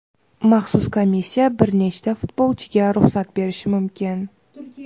maxsus komissiya bir nechta futbolchiga ruxsat berishi mumkin.